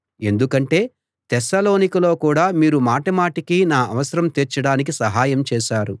ఎందుకంటే తెస్సలోనికలో కూడా మీరు మాటిమాటికీ నా అవసరం తీర్చడానికి సహాయం చేశారు